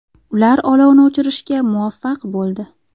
Ular olovni o‘chirishga muvaffaq bo‘ldi.